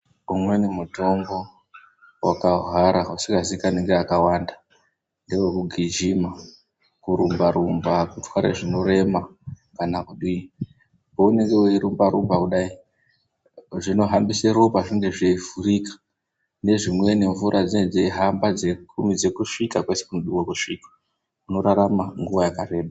Umweni mutombo wakahwara usingazikanwi ngevakawanda ngewekugijima kurumba rumba kutware zvinorema kana kudii paunenge weirumba rumba kudai zvinohambise ropa zvinge zveivhurika nezvimweni mvura dzinenge dzeihamba dzeikurumidze kusvika kwese kunodiwe kusvikwa unorarama nguwa yakareba.